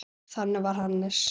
Þannig var Hannes.